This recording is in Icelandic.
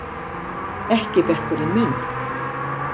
Ekki bekkurinn minn!